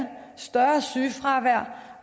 større sygefravær